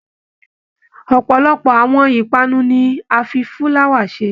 Ọpọlọpọ àwọn ipanu ní a fí fulawa ṣe.